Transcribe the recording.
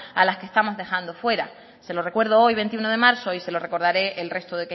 a las que estamos dejando fuera se lo recuerdo hoy veintiuno de marzo y se lo recordaré el resto